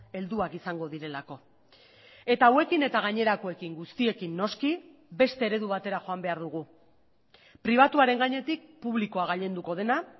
helduak izango direlako eta hauekin eta gainerakoekin guztiekin noski beste eredu batera joan behar dugu pribatuaren gainetik publikoa gailenduko dena